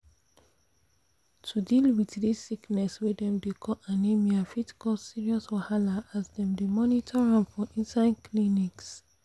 to deal with this sickness wey dem dey call anemia fit cause serious wahala as dem dey monitor am for inside clinics pause